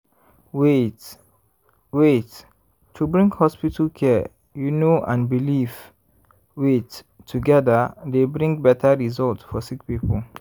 wait- wait- to bring hospital care you know and belief wait- togeda dey bring beta result for sick poeple.